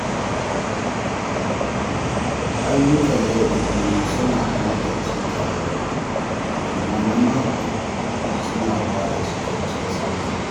Ayyukan yau da kullum suna hana datti taruwa, amma na mako suna ba da cikakken tsafta.